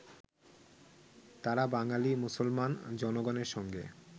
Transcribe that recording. তাঁরা বাঙালী মুসলমান জনগণের সঙ্গে